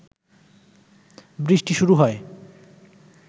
বৃষ্টি শুরু হয়